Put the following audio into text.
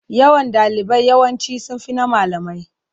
Yawan ɗalibai yawanci sun fi na malamai.